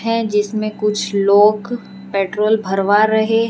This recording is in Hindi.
हैं जिसमें कुछ लोग पेट्रोल भरवा रहे हैं।